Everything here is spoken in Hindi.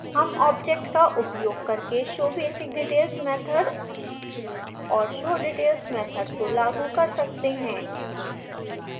हम object का उपयोग करके showbasicdetails मैथड और showdetails मैथड को लागू कर सकते हैं